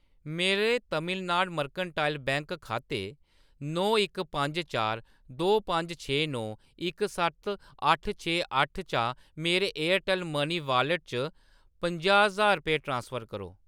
मेरे Tamilnad mercantile bank खाते नौ इक पंज चार दो पंज छे नौ इक सत्त अट्ठ छे अट्ठ चा मेरे एयरटैल्ल मनी वाॅलेट च पंजाह् ज्हार रपेऽ ट्रांसफर करो।